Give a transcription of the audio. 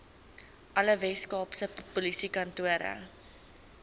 alle weskaapse polisiekantore